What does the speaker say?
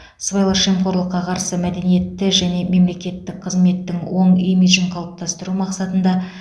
сыбайлас жемқорлыққа қарсы мәдениетті және мемлекеттік қызметтің оң имиджін қалыптастыру мақсатында